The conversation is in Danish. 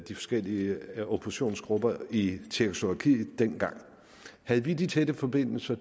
de forskellige oppositionsgrupper i tjekkoslovakiet dengang havde vi de tætte forbindelser